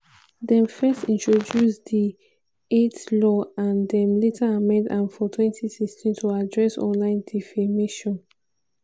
dem first introduce di eit law and dem later amend am for 2016 to address online defamation.